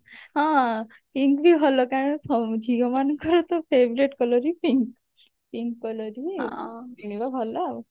ହଁ pink ବି ଭଲ କାରଣ ଫ ଝିଅ ମାନଙ୍କର ତ favourite colour ହିଁ pink pink colour ହିଁ କିଣିବ ଭଲ ଆଉ